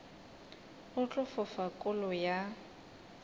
go tla fofa kolo ya